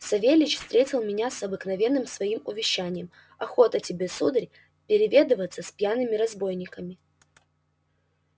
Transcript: савельич встретил меня с обыкновенным своим увещанием охота тебе сударь переведываться с пьяными разбойниками